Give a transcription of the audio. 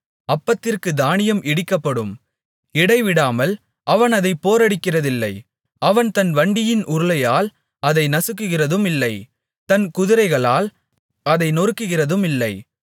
அப்பத்திற்குத் தானியம் இடிக்கப்படும் இடைவிடாமல் அவன் அதைப் போரடிக்கிறதில்லை அவன் தன் வண்டியின் உருளையால் அதை நசுக்குகிறதுமில்லை தன் குதிரைகளால் அதை நொறுக்குகிறதுமில்லை